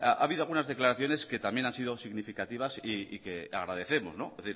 ha habido algunas declaraciones que también han sido significativas y que agradecemos es